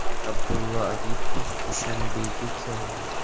Abdulla Aripov Dushanbega keldi.